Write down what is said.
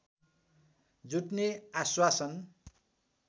जुट्ने आश्वासन